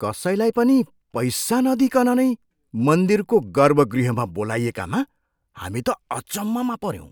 कसैलाई पनि पैसा नदिइकन नै मन्दिरको गर्भगृहमा बोलाइएकामा हामी त अचम्ममा पऱ्यौँ।